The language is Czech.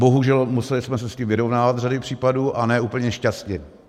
Bohužel, museli jsme se s tím vyrovnávat v řadě případů, a ne úplně šťastně.